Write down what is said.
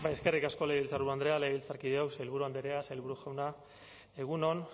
eskerrik asko legebiltzarburu andrea legebiltzarkideok sailburu andrea sailburu jauna egun on